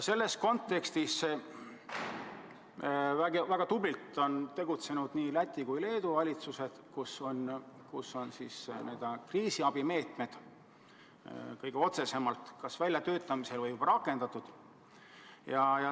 Selles kontekstis on väga tublilt tegutsenud nii Läti kui Leedu valitsus: kriisiabimeetmed on kas väljatöötamisel või juba rakendatud.